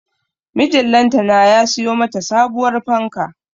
Mijin lantana ya siyo mata sabuwar fanka